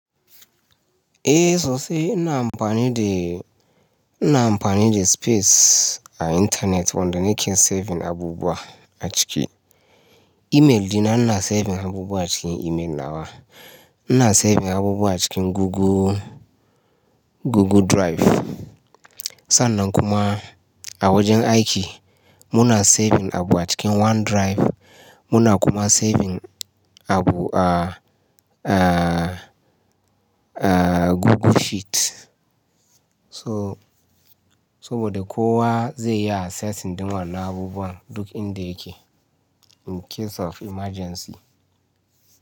Eh sosai. Ina amfani de, ina amfani de space a intanet wanda nike saving abubuwa a ciki. Email dina ina saving abubuwa a cikin email nawa. Ina saving abubuwa a cikin Google, Google Drive. Sannan kuma a wajen aiki muna saving abu a cikin OneDrive. Muna kuma saving abu a, a, a Google Sheet. So, saboda kowa zai iya assessing ɗin wannan abubuwan duk inda yake in case of emergency.